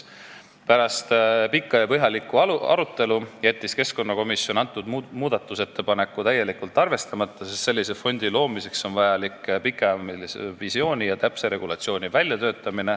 Pärast pikka ja põhjalikku arutelu jättis keskkonnakomisjon selle muudatusettepaneku täielikult arvestamata, sest sellise fondi loomiseks on vaja välja töötada pikemaajaline visioon ja täpne regulatsioon.